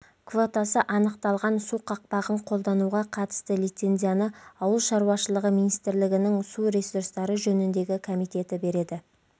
квотасы анықталған су қақпағын қолдануға қатысты лицензияны ауыл шаруашылығы министрлігінің су ресурстары жөніндегі комитеті береді